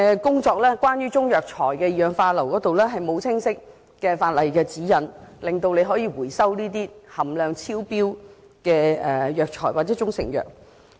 關於中藥材的二氧化硫含量，並無清晰的法例指引，說明當局可以收回含量超標的藥材或中成藥。